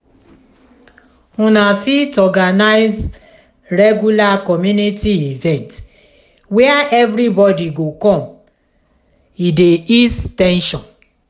una fit organize regular community event where everybody go come e dey ease ten sion